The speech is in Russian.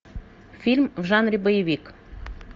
фильм в жанре боевик